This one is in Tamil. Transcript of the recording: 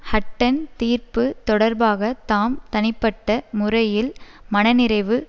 ஹட்டன் தீர்ப்பு தொடர்பாக தாம் தனிப்பட்ட முறையில் மனநிறைவு